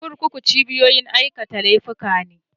Kurkuku cibiyoyin aikata laifuka ne